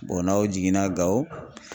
n'aw jiginna Gawo